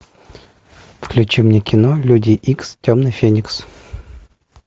включи мне кино люди икс темный феникс